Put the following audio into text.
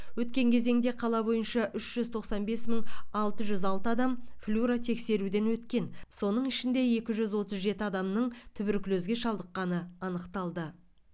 өткен кезеңде қала бойынша үш жүз тоқсан бес мың алты жүз алты адам флюоротексеруден өткен соның ішінде үш жүз отыз жеті адамның туберкулезге шалдықққаны анықталды